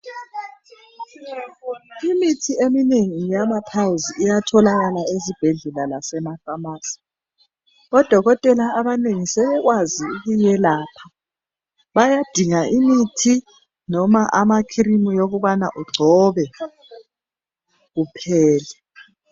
Imithi eminengi yamaphayilzi iyatholakala ezibhedlela lasemafamasi. Odokotela abanengi sebekwazi ukuwelapha. Bayadinga imithi loba amakhrimu okubana ugcobe, kuphele.